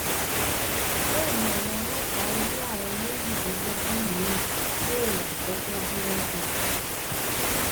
bẹẹ ni àwọn ọlọpàá rí àwọn méjìlélógún miín dóòlà gẹgẹ bí wọn ṣe sọ